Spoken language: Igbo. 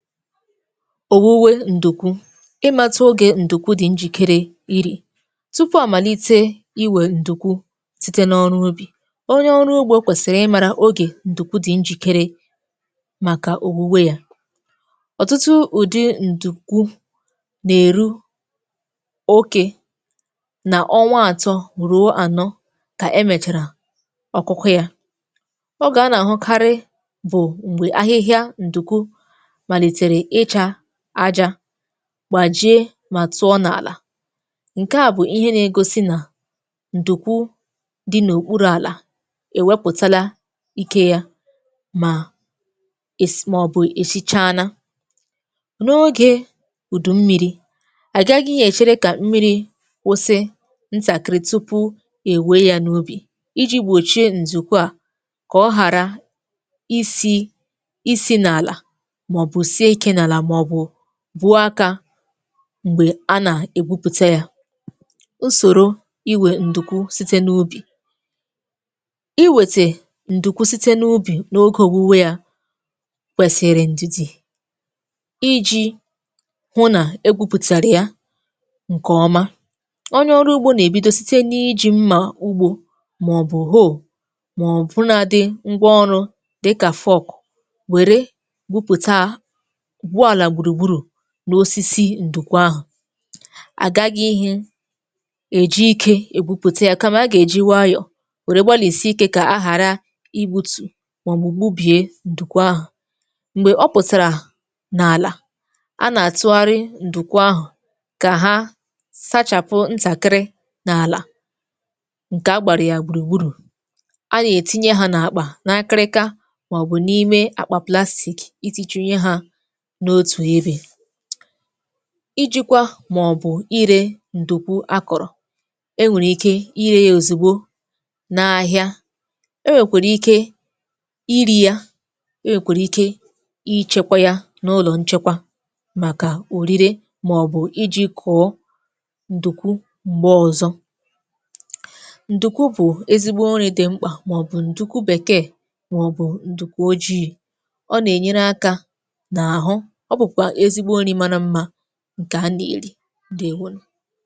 Owuwe ndụkwu; ịmatụ oge ndụkwu dị njikere iri. Tupu amalite iwe ndụkwu site n’ọrụ ubi, onye ọrụ ugbo kwesịrị ịmara oge ndụkwu dị njikere maka owuwe ya. Ọtụtụ ụdị ndụkwu na-eru oke na ọnwa atọ ruo anọ ka e mechara ọkụkụ ya. Oge a na-ahụkarị bụ mgbe ahịhịa ndụkwu malitere ịcha aja, gbajie ma tụọ n’ala. Nke a bụ ihe na-egosi na ndụkwu di n’okpuru ala ewepụtala ike ya ma es ma ọ bụ e shịchaala. N’oge udu mmiri, a gaghị echere ka mmiri kwụsị ntakịrị tupu e wee ya n’ubi iji gbochie ndukwa a ka ọ ghara isi isi n’ala ma ọ bụ sie ike n’ala ma ọ bụ buo aka mgbe a na-egwupụta ya. Usoro iwe ndụkwu site n’ubi: iwete ndụkwu site n’ubi n’oge owuwe ya kwesịrị ndidi iji hụ na e gwupụtara ya nke ọma. Onye ọrụ ugbo na-ebido site n’iji mma ugbo ma ọ bụ hoe ma ọ bụnadị ngwa ọrụ dịka fork were gwuo ala gburugburu n’osisi ndụkwu ahụ. Agaghị eji ike egwuputa ya kama a ga ejiwa ya were gbalisie ike ka a ghara igbutu ma ọ bụ gbubie ndụkwu ahụ. Mgbe ọ pụtara n’ala, a na atụgharị ndụkwu ahụ ka ha sachapụ ntakịrị n’ala, nke a gbara ya gburugburu. A na etinye ha na-akpa na akịrịka ma ọ bụ n’ime akpa plastic iji tunye ha n’otu ebe. Ijikwa ma ọ bụ ire ndụkwu a kọrọ, E nwere ike ire ya ozìgbo n’ahịa. E nwekwara ike iri ya. E nwekwara ike ichekwa ya n’ụlọ nchekwa maka oriri, ma ọ bụ iji kọọ ndụkwu mgbe ọzọ. Ndụkwu bụ ezigbo nri dị mkpa ma ọ bụ ndụkwu bekee, ma ọ bụ ndụkwu ojii. Ọ na-enyere aka n’ahụ, ọ bụkwa ezigbo nri mara mma nke a na-eri. Ndewo nu